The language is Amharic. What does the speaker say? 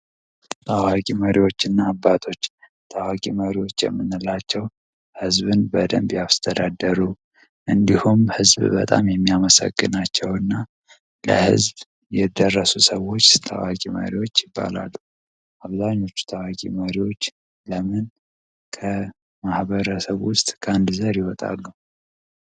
መሪዎችና አባቶች ታዋቂ መሪዎች የምንላቸው ህዝብን በደንብ ያስተዳደሩ እንዲሁም ህዝብ በጣም የሚያመሰግናቸውና ለህዝብ የደረሰ ሰዎች የማሪዎች ከማህበረሰብ ውስጥ ከአንድ ዘር ይወጣሉ